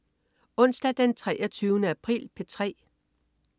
Onsdag den 23. april - P3: